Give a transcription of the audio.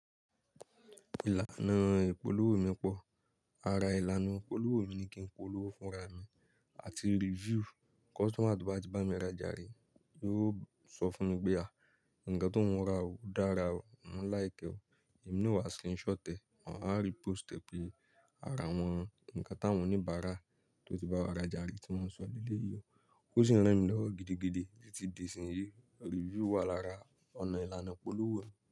Ìlànà ìpolówó mi pọ̀, ara ìlànà ìpolówó mi ni kí n polówó fún ra mi àti review. Customer tobá ti bá mi rajà rí, yóò sọ fún mi pé a, ǹnkan tóún ra ò dára o, mo like e. Èmi naa o wà screenshot ẹ, maa wa repost ẹ pé ara awọn, ǹnkan táwọn oníbàrá tó ti bá wa rajà rí tí wọ́n sọ léyí o. Ó sì ń ràn mí lọ́wọ́ gidigidi tí di ìsìn yìí. Review wà lára ọ̀nà ìlànà ìpolówó mi.